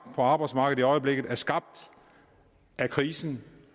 arbejdsmarkedet i øjeblikket er skabt af krisen